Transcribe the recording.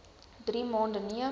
drie maande neem